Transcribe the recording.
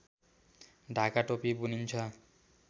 ढाका टोपी बुनिन्छ